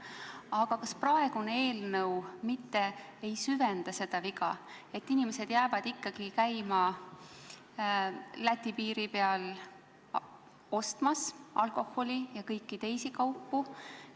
Aga kas praeguses eelnõus pakutu mitte ei süvenda seda viga ja inimesed jäävad ikkagi käima Läti piiri peal ostmas alkoholi ja kõiki teisi kaupu?